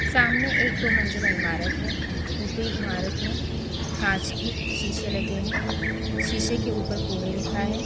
सामने एक दो मंजिला इमारत है ऊपरी इमारत में कांच की शीशे लगे हैं शीशे के ऊपर पुणे लिखा है।